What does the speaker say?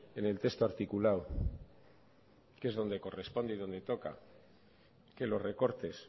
en el texto articulado que es donde corresponde y donde toca que los recortes